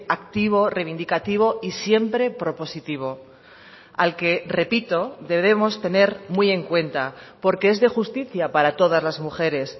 activo reivindicativo y siempre propositivo al que repito debemos tener muy en cuenta porque es de justicia para todas las mujeres